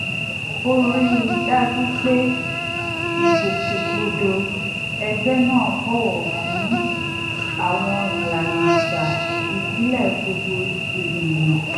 ó rí i dájú pé ìgbòkègbodò ẹgbẹ́ náà bọ̀wọ̀ fún àwọn ìlànà àṣà ìbílẹ̀ gbogbo ènìyàn